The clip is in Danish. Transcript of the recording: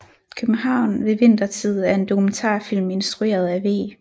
København ved Vintertid er en dokumentarfilm instrueret af V